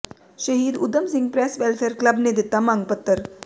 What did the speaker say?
ਸ਼ਹੀਦ Udham Singh press welfare club ਨੇ ਦਿੱਤਾ ਮੰਗ ਪੱਤਰ